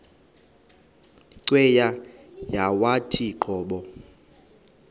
cweya yawathi qobo